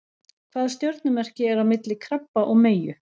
Hvaða stjörnumerki er á milli krabba og meyju?